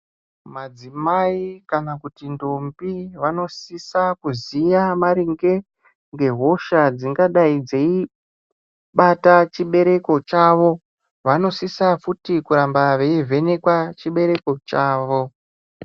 Madzimai kana kuti ndombi vanosisa kuziya maringe ngehosha dzingadai dzeibata chibereko chavo vanosisa futi kuramba veivhenekwa chibereko chavo.